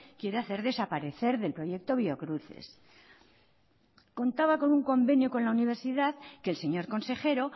quiere hacer desaparecer del proyecto biocruces contaba con un convenio con la universidad que el señor consejero